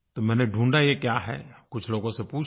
तो मैंने ढूँढ़ा ये क्या है कुछ लोगों से पूछा